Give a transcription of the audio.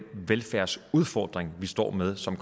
velfærdsudfordring vi står med og som